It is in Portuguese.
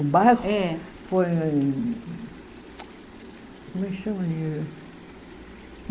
O bairro? É. Foi como é que chama ali?